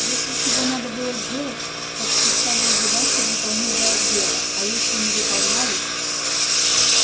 если чего надо было сделать так что ставил задачу выполнить до обеда а если не выполняли